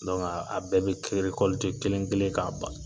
a bɛɛ be kelen kelen ka ban.